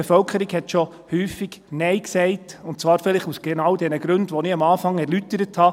Die Bevölkerung hat schon häufig Nein gesagt, und zwar vielleicht genau aus den Gründen, die ich am Anfang erläutert habe: